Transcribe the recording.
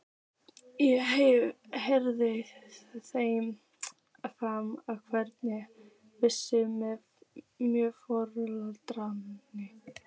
Ég heyrði í þeim frammi og hann virtist mjög forvitinn.